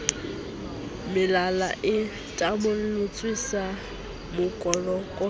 melala e tamolletswe sa kokolofitwe